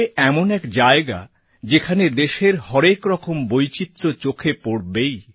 এ এমন এক জায়গা যেখানে দেশের হরেক রকম বৈচিত্র্য চোখে পড়বেই